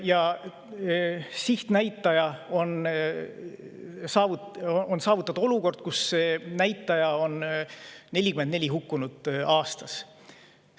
Ja siht on saavutada olukord, kus see näitaja on 44 hukkunut aastas.